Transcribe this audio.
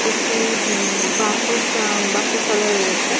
একটি হমম বাসসা উম বাসস্থান ও রয়েছে।